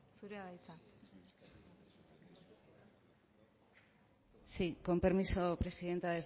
zurea da hitza sí con permiso presidenta